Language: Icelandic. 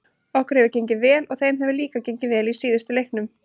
Okkur hefur gengið vel og þeim hefur líka gengið vel í síðustu leiknum.